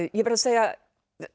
ég verð að segja og